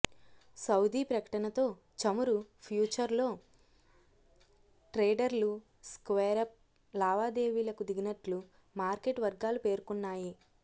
Saudi ప్రకటనతో చమురు ఫ్యూచర్స్లో్ ట్రేడర్లు స్క్వేరప్ లావాదేవీలకు దిగినట్లు మార్కెట్ వర్గాలు పేర్కొన్నాయి